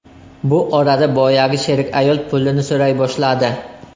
Bu orada boyagi sherik ayol pulini so‘ray boshladi.